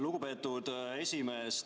Lugupeetud esimees!